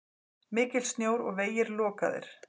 Mikill snjór og vegir lokaðir.